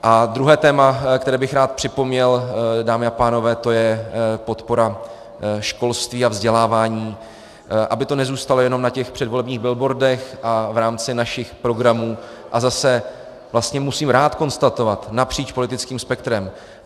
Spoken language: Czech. A druhé téma, které bych rád připomněl, dámy a pánové, to je podpora školství a vzdělávání, aby to nezůstalo jenom na těch předvolebních billboardech a v rámci našich programů, a zase, vlastně musím rád konstatovat, napříč politickým spektrem.